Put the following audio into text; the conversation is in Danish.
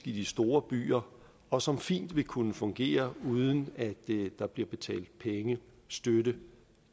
i de store byer og som fint vil kunne fungere uden at der bliver betalt penge støtte